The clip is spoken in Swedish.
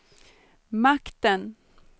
makten